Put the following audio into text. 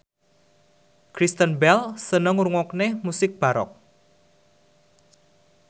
Kristen Bell seneng ngrungokne musik baroque